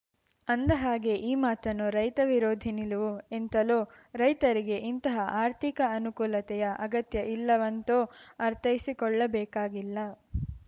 ಅಂದಹಾಗೆ ಈ ಮಾತನ್ನು ರೈತ ವಿರೋಧಿ ನಿಲುವು ಎಂತಲೋ ರೈತರಿಗೆ ಇಂತಹ ಆರ್ಥಿಕ ಅನುಕೂಲತೆಯ ಅಗತ್ಯ ಇಲ್ಲವೆಂತ ಅರ್ಥೈಸಿಕೊಳ್ಳಬೇಕಾಗಿಲ್ಲ